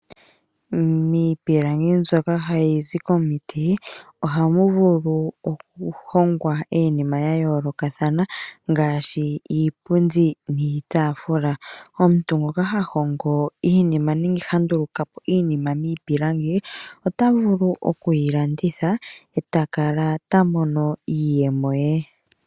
Miipilangi mbyoka hayi zi komiti ohamu vulu oku hongwa iinima ya yoolokathana ngaashi iipundi niitafula. Omuntu ngoka ha hongo iinima nenge ha ndulukapo iinima miipilangi ota vulu okuyi landitha eta kala ta mono iiyemo ye.